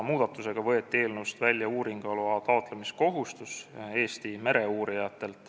Muudatusega võeti eelnõust välja Eesti mereuurijate uuringuloa taotlemise kohustus.